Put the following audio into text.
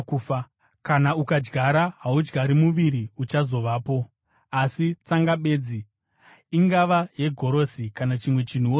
Kana ukadyara haudyari muviri uchazovapo, asi tsanga bedzi, ingava yegorosi kana chimwe chinhuwo zvacho.